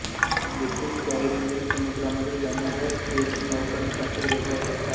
येथून कॅरिबियन समुद्रामध्ये जाणाऱ्या क्रुझनौकांसाठी वेगळा धक्का आहे